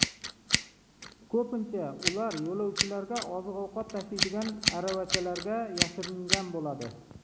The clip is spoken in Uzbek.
Ko‘pincha ular yo‘lovchilarga oziq-ovqat tashiydigan aravachalarga yashiringan bo‘ladi.